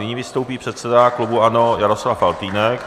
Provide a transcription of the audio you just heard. Nyní vystoupí předseda klubu ANO Jaroslav Faltýnek.